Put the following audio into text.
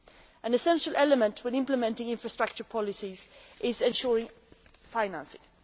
An essential element when implementing infrastructure policies is ensuring financing.